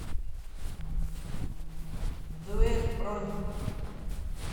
дуэт бронь